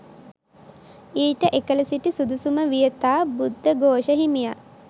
ඊට එකල සිටි සුදුසුම වියතා බුද්ධඝෝෂ හිමියන්